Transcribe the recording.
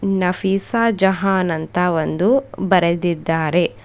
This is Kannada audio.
ನಫೀಸಾ ಜಹಾನ್ ಅಂತ ಒಂದು ಬರೆದಿದ್ದಾರೆ.